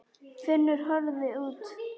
Finnur horfði út.